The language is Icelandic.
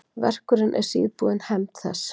Verkurinn er síðbúin hefnd þess.